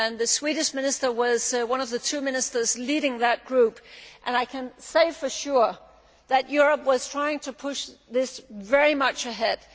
The Swedish Minister was one of the two ministers leading that group and I can say for sure that Europe was trying to push this very hard.